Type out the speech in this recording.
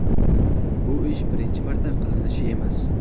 Bu ish birinchi marta qilinishi emas.